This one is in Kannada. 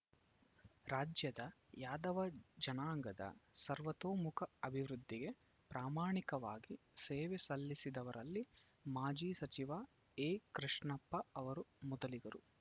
ರಾಜ್ಯದ ಯಾದವ ಜನಾಂಗದ ಸರ್ವತೋಮುಖ ಅಭಿವೃದ್ಧಿಗೆ ಪ್ರಾಮಾಣಿಕವಾಗಿ ಸೇವೆ ಸಲ್ಲಿಸಿದವರಲ್ಲಿ ಮಾಜಿ ಸಚಿವ ಎಕೃಷ್ಣಪ್ಪ ಅವರು ಮೊದಲಿಗರು